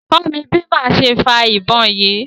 kọ́ mí bi máa ṣe fa ìbọn yìí!